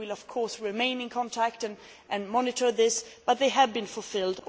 We will, of course, remain in contact and monitor this, but they have been fulfilled.